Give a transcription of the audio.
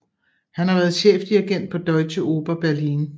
Han har været chefdirigent på Deutsche Oper Berlin